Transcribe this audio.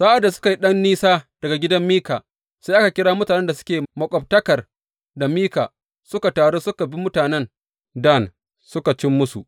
Sa’ad da suka yi ɗan nisa daga gidan Mika, sai aka kira mutanen da suke maƙwabtakar da Mika suka taru suka bi mutanen Dan suka cim musu.